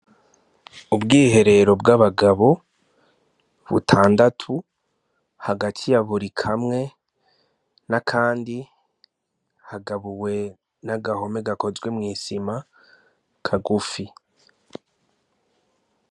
Ubwiherero bw'abagabo butandatu hagati yaburi kamwe n'akandi hagabuwe n'agahome gakozwe mw'isima kagufi.